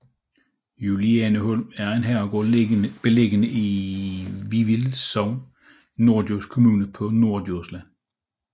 Julianeholm er en herregård beliggende i Vivild Sogn i Norddjurs Kommune på Norddjursland